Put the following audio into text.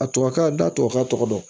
A tubabu kan da tubabukan tɔgɔ dɔn